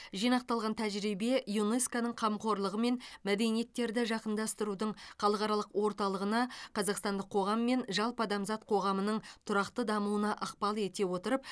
жинақталған тәжірибе юнеско ның қамқорлығымен мәдениеттерді жақындастырудың халықаралық орталығына қазақстандық қоғам мен жалпы адамзат қоғамының тұрақты дамуына ықпал ете отырып